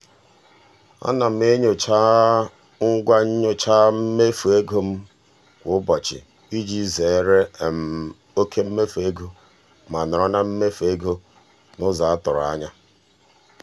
ana m enyocha ngwa nnyocha mmefu ego m kwa ụbọchị iji zeere um oke mmefu ego ma nọrọ na mmefu ego n'ụzọ a tụrụ ya.